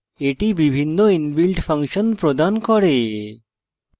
এটি বিভিন্ন inbuilt function প্রদান করে